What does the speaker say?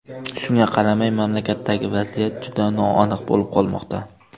Shunga qaramay, mamlakatdagi vaziyat juda noaniq bo‘lib qolmoqda.